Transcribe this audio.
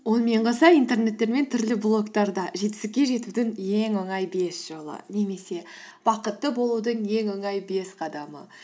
онымен қоса интернеттер мен түрлі блогтарда жетістікке жетудің ең оңай бес жолы немесе бақытты болудың ең оңай бес қадамы